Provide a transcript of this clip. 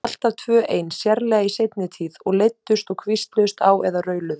Alltaf tvö ein, sérlega í seinni tíð, og leiddust og hvísluðust á eða rauluðu.